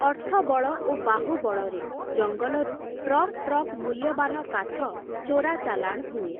ଅର୍ଥବଳ ଓ ବାହୁବଳରେ ଜଙ୍ଗଲରୁ ଟ୍ରକ୍ ଟ୍ରକ୍ ମୂଲ୍ୟବାନ କାଠ ଚୋରାଚାଲାଣ୍ ହୁଏ ।